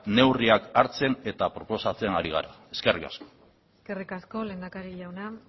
neurriak hartzen eta proposatzen ari gara eskerrik asko eskerrik asko lehendakari jauna